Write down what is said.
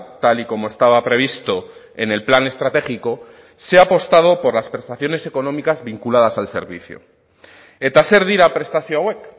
tal y como estaba previsto en el plan estratégico se ha apostado por las prestaciones económicas vinculadas al servicio eta zer dira prestazio hauek